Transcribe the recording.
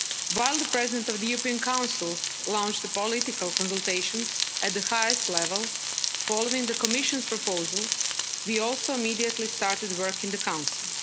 While the President of the European Council launched the political consultations at the highest level, following the Commission's proposal, we also immediately started work in the Council.